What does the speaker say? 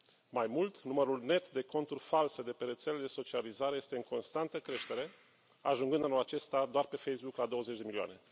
Mai mult, numărul net de conturi false de pe rețelele de socializare este în constantă creștere, ajungând anul acesta doar pe Facebook la 20 de milioane.